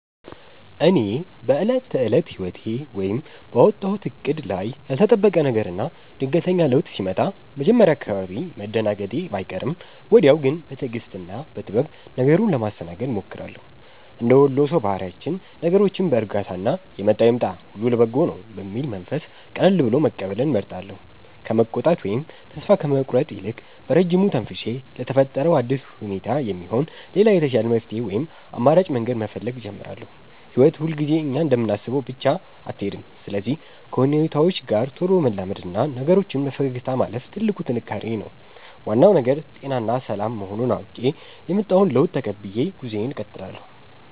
እኔ በዕለት ተዕለት ሕይወቴ ወይም ባወጣሁት ዕቅድ ላይ ያልተጠበቀ ነገርና ድንገተኛ ለውጥ ሲመጣ መጀመሪያ አካባቢ መደናገጤ ባይቀርም፣ ወዲያው ግን በትዕግሥትና በጥበብ ነገሩን ለማስተናገድ እሞክራለሁ። እንደ ወሎ ሰው ባህሪያችን ነገሮችን በዕርጋታና «የመጣው ይምጣ፣ ሁሉ ለበጎ ነው» በሚል መንፈስ ቀልሎ መቀበልን እመርጣለሁ። ከመቆጣት ወይም ተስፋ ከመቁረጥ ይልቅ፣ በረጅሙ ተንፍሼ ለተፈጠረው አዲስ ሁኔታ የሚሆን ሌላ የተሻለ መፍትሔ ወይም አማራጭ መንገድ መፈለግ እጀምራለሁ። ሕይወት ሁልጊዜ እኛ እንደምናስበው ብቻ አትሄድም፤ ስለዚህ ከሁኔታዎች ጋር ቶሎ መላመድና ነገሮችን በፈገግታ ማለፍ ትልቁ ጥንካሬዬ ነው። ዋናው ነገር ጤናና ሰላም መሆኑን አውቄ፣ የመጣውን ለውጥ ተቀብዬ ጉዞዬን እቀጥላለሁ።